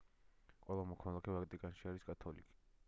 ყველა მოქალაქე ვატიკანში არის კათოლიკე